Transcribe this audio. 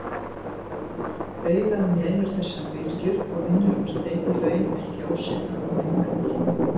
Augað nemur þessar bylgjur og vinnur úr þeim í raun ekki ósvipað og myndavél.